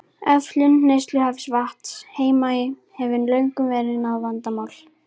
Öflun neysluhæfs vatns á Heimaey hefur löngum verið vandamál.